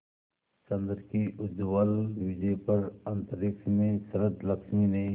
चंद्र की उज्ज्वल विजय पर अंतरिक्ष में शरदलक्ष्मी ने